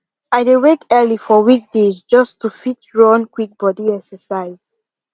i dey wake early for weekdays just to fit run quick body exercise